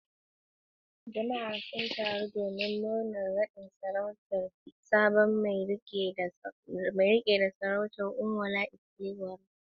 Jama’a sun taru domin murnar nadin sarautar sabon mai rike da sarautar, Onwa-na-etili-ora.